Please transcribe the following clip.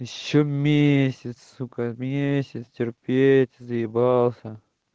ещё месяц сука месяц терпеть заебался